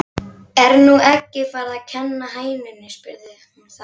Er nú eggið farið að kenna hænunni? spyr hún þá.